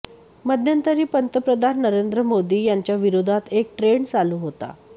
मध्यंतरी पंतप्रधान नरेंद्र मोदी यांच्या विरोधात एक ट्रेंड चालू होता